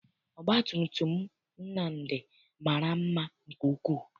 Ọgbatumutum Nnamdi mara mma nke ukwuu.